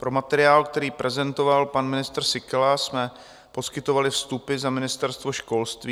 Pro materiál, který prezentoval pan ministr Síkela, jsme poskytovali vstupy za Ministerstvo školství.